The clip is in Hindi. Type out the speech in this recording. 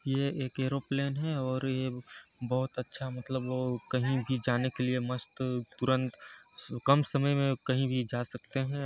ये एक एरोप्लेन है और ये बहोत अच्छा मतलब कही भी जाने के लिए मस्त तुरंत कम समय मे काही भी जा सकते हैं।